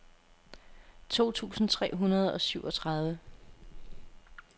to tusind tre hundrede og syvogtredive